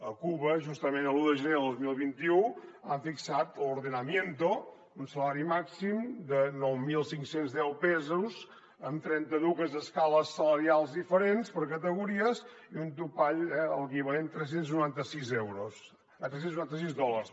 a cuba justament l’un de gener de dos mil vint u han fixat l’ordenamiento un salari màxim de nou mil cinc cents i deu pesos en trenta dues escales salarials diferents per categories i un topall equivalent a tres cents i noranta sis dòlars